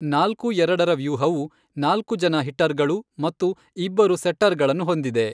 ನಾಲ್ಕು ಎರಡರ ವ್ಯೂಹವು ನಾಲ್ಕು ಜನ ಹಿಟ್ಟರ್ಗಳು ಮತ್ತು ಇಬ್ಬರು ಸೆಟ್ಟರ್ಗಳನ್ನು ಹೊಂದಿದೆ.